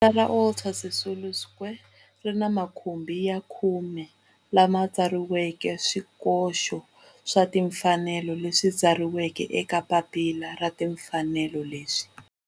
Rivala ra Walter Sisulu Square ri ni makhumbi ya khume lawa ma tsariweke swikoxo swa timfanelo leswi tsariweke eka papila ra timfanelo leswi.